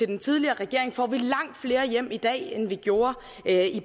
den tidligere regering får vi langt flere hjem i dag end vi gjorde